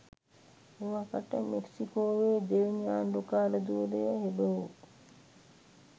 එවකට මෙක්සිකෝවේ දෙවැනි ආණ්ඩුකාර ධුරය හෙබවූ